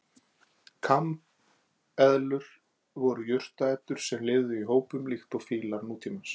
Kambeðlur voru jurtaætur sem lifðu í hópum líkt og fílar nútímans.